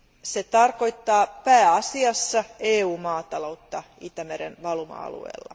Se tarkoittaa pääasiassa EU maataloutta Itämeren valuma alueella.